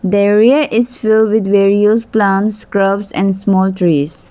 their way is filled with various plants scurbs and small trees.